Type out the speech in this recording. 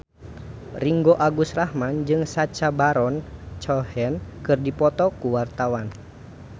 Ringgo Agus Rahman jeung Sacha Baron Cohen keur dipoto ku wartawan